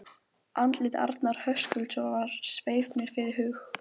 Andlit Arnar Höskuldssonar sveif mér fyrir hug